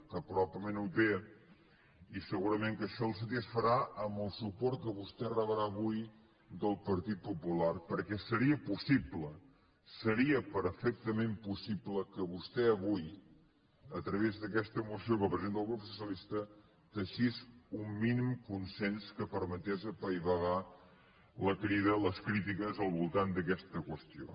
que probablement ho té i segurament que això el satisfarà amb el suport que vostè rebrà avui del partit popular perquè seria possible seria perfectament possible que vostè avui a través d’aquesta moció que presenta el grup socialista teixís un mínim consens que permetés apaivagar la crida les crítiques al voltant d’aquesta qüestió